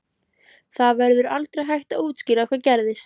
Það verður aldrei hægt að útskýra hvað gerðist.